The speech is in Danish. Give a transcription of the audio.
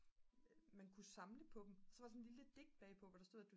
man kunne samle på dem og så var der sådan et lille digt bagpå hvor der stod at